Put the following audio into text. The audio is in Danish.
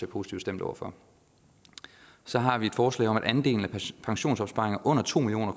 positivt stemt over for så har vi et forslag om at andelen af pensionsopsparinger under to million